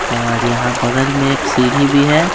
यहाँ और बगल में एक सीढ़ी भी है।